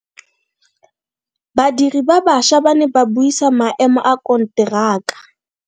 Badiri ba baša ba ne ba buisa maemo a konteraka.